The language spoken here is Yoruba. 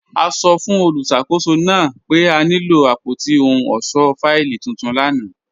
A sọ́ fun olúṣakòsó naa pe a nilo apótí òhùn ọṣọ́ fáìlì tuntun lána.